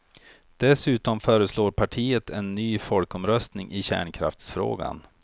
Dessutom föreslår partiet en ny folkomröstning i kärnkraftsfrågan.